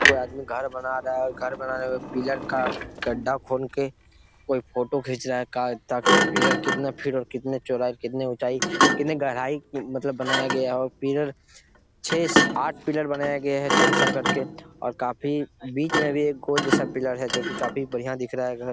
कोई आदमी घर बना रहा है। घर बनाने के बाद पिलर का खड्डा खून के कोई फोटो खिच रहा है ताकि पिलर कितने फिट कितने चौड़ाई कितने ऊंचाई कितने गहराई मतलब बनाया गया है। और पिलर छै आठ पिलर बनाया गया है चार चार करके। और काफी बीच मे भी एक गोल जैसे पिलर है जो कि काफी बढ़िया दिख रहा है। घर --